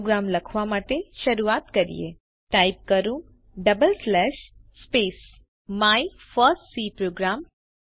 programme લખવા માટે શરૂઆત કરીએ ટાઇપ કરો double slash space my first C programme